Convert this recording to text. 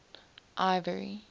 ivory